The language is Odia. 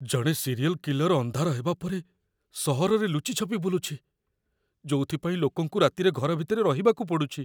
ଜଣେ ସିରିୟଲ୍ କିଲର୍ ଅନ୍ଧାର ହେବା ପରେ ସହରରେ ଲୁଚି ଛପି ବୁଲୁଛି, ଯୋଉଥିପାଇଁ ଲୋକଙ୍କୁ ରାତିରେ ଘର ଭିତରେ ରହିବାକୁ ପଡ଼ୁଛି।